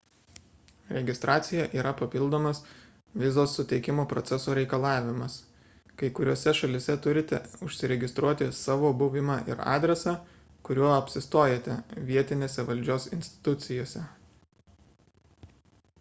registracija yra papildomas vizos suteikimo proceso reikalavimas kai kuriose šalyse turite užregistruoti savo buvimą ir adresą kuriuo apsistojate vietinėse valdžios institucijose